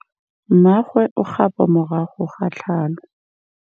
Mmagwe o kgapô morago ga tlhalô.